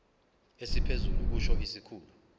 esiphezulu kusho isikhulu